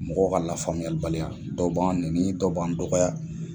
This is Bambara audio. Mɔgɔ ka lafaamuyalibali ya, dɔw b'an nɛni, dɔw ban dɔgɔya.